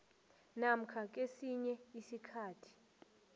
namkha kesinye isikhathi